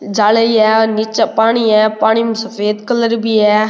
जा लेही है निचे पानी है पानी में सफ़ेद कलर भी है।